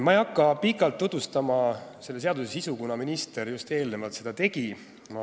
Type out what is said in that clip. Ma ei hakka pikalt tutvustama eelnõu sisu, kuna minister äsja seda juba tegi.